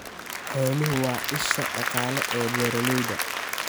Xooluhu waa isha dhaqaale ee beeralayda.